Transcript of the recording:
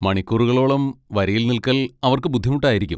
മണിക്കൂറുകളോളം വരിയിൽ നിൽക്കൽ അവർക്ക് ബുദ്ധിമുട്ടായിരിക്കും.